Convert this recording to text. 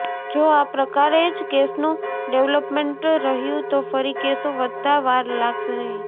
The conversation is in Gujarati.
જો આ પ્રકારે જ કેસનું ડેવલપમેન્ટ રહ્યું તો ફરી કેસો વધતા વાર લાગશે નહીં